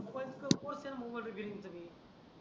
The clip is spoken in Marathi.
पटकन कोर्स चा मोबाईल सगडे आह